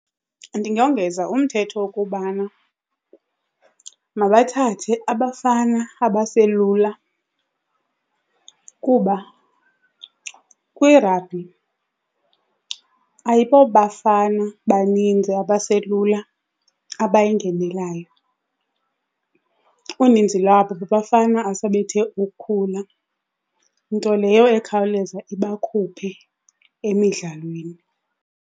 Ndingongeza umthetho wokubana mabathathe abafana abaselula kuba kwirabhi ayibobafana baninzi abaselula abayingenelayo. Uninzi lwabo babafana asebethe ukukhula, nto leyo ekhawuleza ibakhuphe emidlalweni.